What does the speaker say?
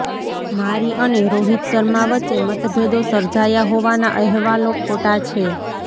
મારી અને રોહિત શર્મા વચ્ચે મતભેદો સર્જાયા હોવાના અહેવાલો ખોટા છે